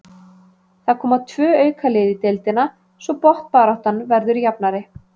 Það koma tvö auka lið í deildina svo botnbaráttan verður jafnari.